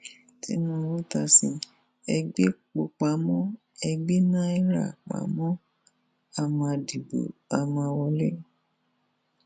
tìnùbù ta sí e gbépo pamọ ẹ gbé níra pamọ á máa dìbò á máa wọlé